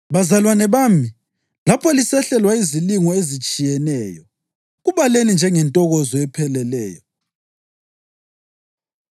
Bazalwane bami, lapho lisehlelwa yizilingo ezitshiyeneyo, kubaleni njengentokozo epheleleyo